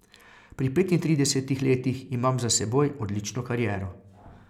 Pri petintridesetih letih imam za seboj odlično kariero.